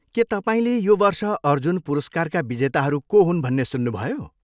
के तपाईँले यो वर्ष अर्जुन पुरस्कारका विजेताहरू को हुन् भन्ने सुन्नुभयो?